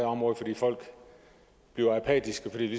område fordi folk bliver apatiske for det